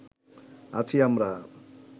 আছি আমরা